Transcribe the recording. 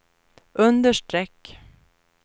understreck